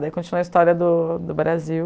Daí continua a história do do Brasil.